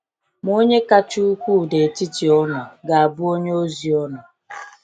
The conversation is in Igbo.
Ma onye kasị ukwuu n’etiti unu ga-abụ onye ozi unu.